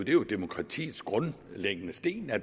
jo demokratiets grundlæggende sten at